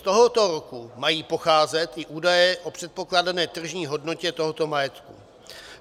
Z tohoto roku mají pocházet i údaje o předpokládané tržní hodnotě tohoto majetku.